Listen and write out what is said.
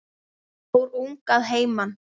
Fór ung að heiman.